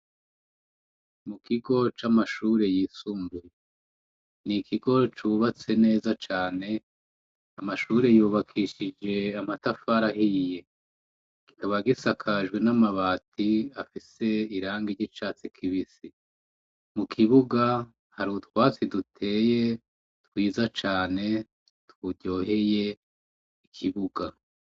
Mu kigo c'amashure yisumbuye ni ikigo cubatse neza cane amashure yubakishije amatafarahiye gikaba gisakajwe n'amabati afise iranga ry'icatsi kibisi mu kibuga hari utwatsi duteye twiza cane twuryoheye ikibuga.